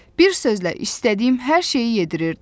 Bir sözlə, istədiyim hər şeyi yedirirdi.